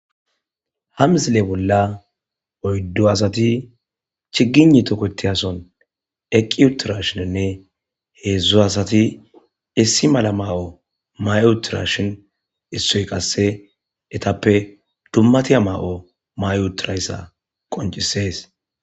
ha mizile bolla oyddo asati chigini toketi ason eqqi utirashininne heedzdzu asati issi mala ma7o may7utirashin issoy qasse etappe dummatiya ma7o ma7utirayssa qoncisees.